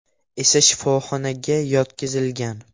esa shifoxonaga yotqizilgan.